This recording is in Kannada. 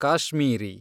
ಕಾಶ್ಮೀರಿ